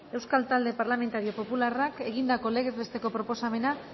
euskal talde parlamentario popularrak egindako legez besteko proposamena